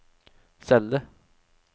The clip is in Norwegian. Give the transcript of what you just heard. celle